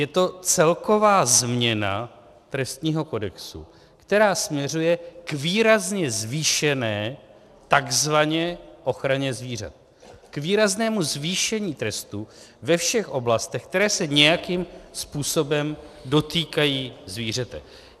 Je to celková změna trestního kodexu, která směřuje k výrazně zvýšené takzvaně ochraně zvířat, k výraznému zvýšení trestů ve všech oblastech, které se nějakým způsobem dotýkají zvířete.